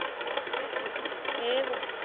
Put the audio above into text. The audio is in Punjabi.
ਤੇ ਫੇਰ ਤੇ ਠੀਕ ਆ